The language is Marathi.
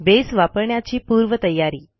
बेस वापरण्याची पूर्वतयारी